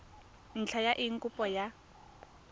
ntlha ya eng kopo ya